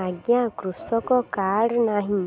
ଆଜ୍ଞା କୃଷକ କାର୍ଡ ନାହିଁ